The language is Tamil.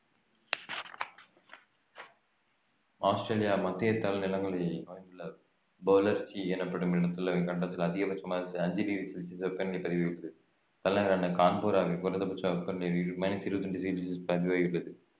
ஆஸ்திரேலியா மத்திய தாழ் நிலங்களை அமைந்துள்ள பௌலர்க்கி எனப்படும் இடத்துல இக்கண்டத்துல அதிகபட்சமாக அஞ்சு டிகிரி செல்ஸியஸ் வெப்பநிலை பதிவாகி~ தலைநகரான கான்பெராவில் குறைந்தபட்ச வெப்பநிலை மைனஸ் இருபத்தி இரண்டு டிகிரி செல்ஸியஸ் பதிவாகியுள்ளது